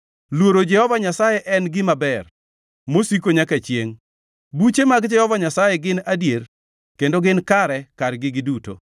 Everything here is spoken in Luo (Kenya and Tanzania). Luoro Jehova Nyasaye en gima ber, mosiko nyaka chiengʼ. Buche mag Jehova Nyasaye gin adier kendo gin kare kargi giduto.